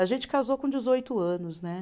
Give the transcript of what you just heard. A gente casou com dezoito anos, né?